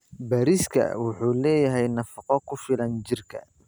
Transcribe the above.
Bariiska wuxuu leeyahay nafaqo ku filan jirka.